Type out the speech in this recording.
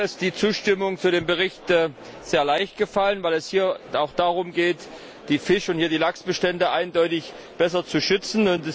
Mir ist die Zustimmung zu dem Bericht sehr leicht gefallen, weil es hier auch darum geht, die Fisch und Lachsbestände eindeutig besser zu schützen.